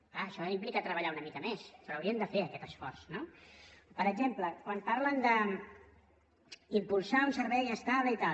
és clar això implica treballar una mica més però haurien de fer aquest esforç no per exemple quan parlen d’impulsar un servei estable i tal